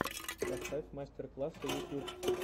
поставь мастер классы ютюб